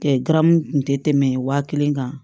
garamu kun tɛ tɛmɛ wa kelen kan